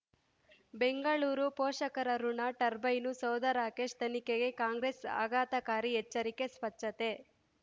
ಬೆಂಗಳೂರು ಪೋಷಕರಋಣ ಟರ್ಬೈನು ಸೌಧ ರಾಕೇಶ್ ತನಿಖೆಗೆ ಕಾಂಗ್ರೆಸ್ ಆಘಾತಕಾರಿ ಎಚ್ಚರಿಕೆ ಸ್ವಚ್ಛತೆ